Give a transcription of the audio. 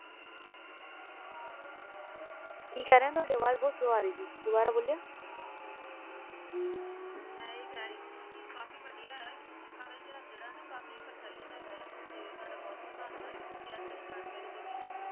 ਕੀ ਕਹਿਰ ਤੁਹਾਡੀ ਆਵਾਜ਼ ਬਹੁਤ ਸਲੋ ਸੀ ਦੁਬਾਰਾ ਕਹਿਣਾ ਆਇ ਕੈ ਰਿਖਿ ਕਿ ਕਾਫੀ ਵਧੀਆ ਹੈ ਕਿ ਸਿੱਖਾਂ ਦਾ ਇਤਿਹਾਸ ਗੈਰਾਂ ਨੂੰ ਕਾਫੀ ਪ੍ਰਚਾਰ ਲਈ ਟੈਸਟ ਜੇ ਤੁਹਾਡਾ ਬਹੁਤ ਬਹੁਤ ਧੰਨਵਾਦ ਤੇ ਤੁਸੀ ਇਹ ਜਾਣਕਾਰੀ ਦਿੱਤੀ